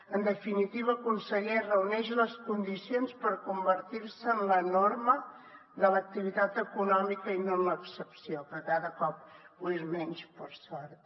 en definitiva conseller reuneix les condicions per convertir se en la norma de l’activitat econòmica i no en l’excepció que cada cop ho és menys per sort